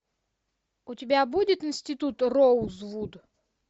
у тебя будет институт роузвуд